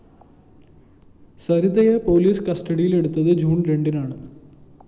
സരിതയെ police കസ്റ്റഡിയിലെടുത്തത് June‍ രണ്ടിനാണ്